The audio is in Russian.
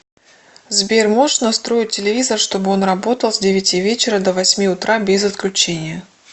сбер можешь настроить телевизор чтобы он работал с девяти вечера до восьми утра без отключения